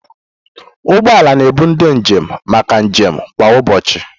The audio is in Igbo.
Ụgbọ ala na-ebu ndị njem maka njem kwa ụbọchị.